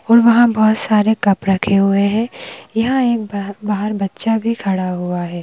और वहाँ बहुत सारे कप रखे हुए हैं यहाँ एक बाह बाहर बच्चा भी खड़ा हुआ है।